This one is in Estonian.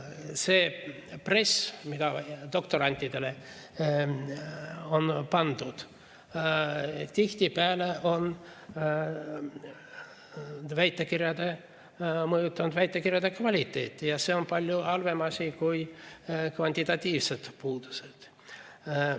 See press, mis doktorantidele on pandud, on tihtipeale mõjutanud väitekirjade kvaliteeti ja see on palju halvem kui kvantitatiivsed puudused.